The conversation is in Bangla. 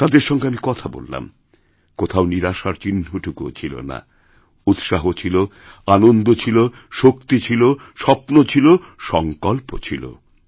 তাদের সঙ্গে আমি কথা বলাম কোথাও নিরাশার চিহ্নটুকুও ছিল না উৎসাহ ছিল আনন্দছিল শক্তি ছিল স্বপ্ন ছিল সঙ্কল্প ছিল